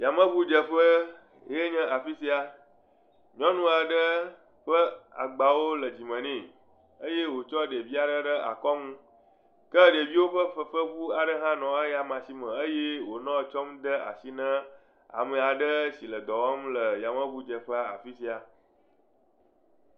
Yameŋudzeƒe ye nye afi sia, nyɔnua ɖe ƒe agbawo le dzime nɛ, eye wotsɔ ɖevia ɖe ɖe akɔŋu, ke ɖeviwo ƒe fefeŋu aɖe hã nɔ eyama sime eye wonɔ tsɔm de asi ne ame aɖe si le dɔ wɔm yameŋudzeƒe afi sia.